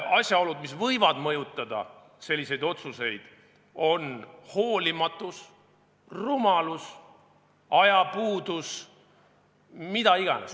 Asjaolud, mis võivad mõjutada selliseid otsuseid, on hoolimatus, rumalus, ajapuudus – mis tahes.